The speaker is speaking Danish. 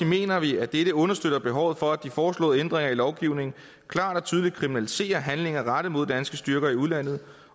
mener vi at dette understøtter behovet for at de foreslåede ændringer i lovgivningen klart og tydeligt kriminaliserer handlinger rettet mod danske styrker i udlandet